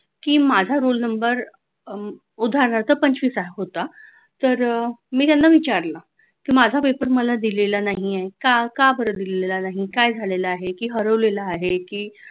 की माझा roll number उदाहरणार्थ पंचवीस होता तर मी त्यांना विचारलं माझ्या paper मला दिलेला नाहीये का का बरं दिलेला नाही काय झालेला आहे की हरवलेला आहे की